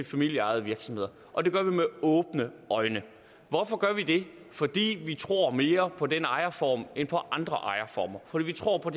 familieejede virksomheder og det gør vi med åbne øjne hvorfor gør vi det fordi vi tror mere på den ejerform end på andre ejerformer fordi vi tror på